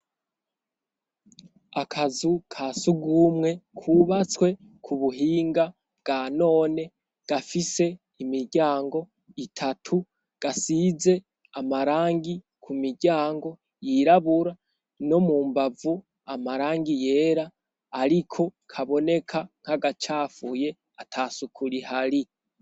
Akazu kasugwumwe kubatswe ku buhinga bwa none gafise imiryango itatu gasize amarangi ku miryango yirabura no mu mbavu amarangi yera ariko kaboneka nkagacafuye atasuku rihari.